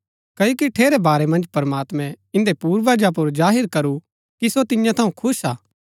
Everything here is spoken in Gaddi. क्ओकि ठेरै बारै मन्ज प्रमात्मैं इन्दै पूर्वजा पुर जाहिर करू कि सो तियां थऊँ खुश हा